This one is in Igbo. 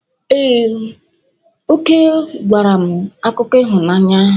Ee, Oke gwara m akụkọ ịhụnanya.